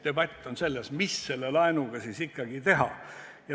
Debati mõte on selles, mida selle laenuga ikkagi teha.